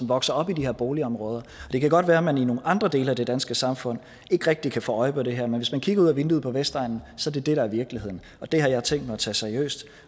vokser op i de her boligområder det kan godt være at man i nogle andre dele af det danske samfund ikke rigtig kan få øje på det her men hvis man kigger ud ad vinduet på vestegnen ser man at det er virkeligheden det har jeg tænkt mig at tage seriøst